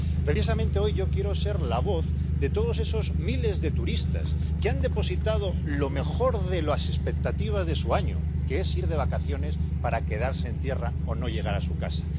Precisamente hoy yo quiero ser la voz de todos esos miles de turistas que han depositado lo mejor de las expectativas de su año en ir de vacaciones para quedarse en tierra o no llegar a su casa.